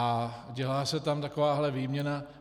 A dělá se tam takováhle výměna...